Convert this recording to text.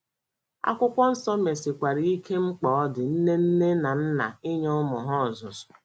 Akwụkwọ Nsọ mesikwara ike mkpa ọ dị nne nne na nna inye ụmụ ha ọzụzụ.